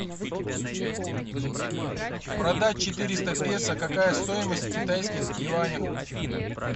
продать четыреста песо какая стоимость в китайских юанях